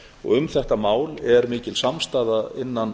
og um þetta mál er mikil samstaða innan